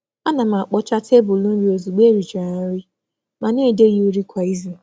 A na m e wepụ ihe n’elu tebụl nri mgbe nri gachara ma na-emecha ya kwa izu.